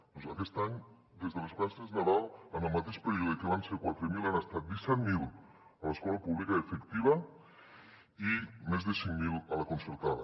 doncs aquest any des de les vacances de nadal en el mateix període que van ser quatre mil han estat disset mil a l’escola pública efectiva i més de cinc mil a la concertada